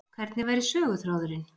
Hvernig væri söguþráðurinn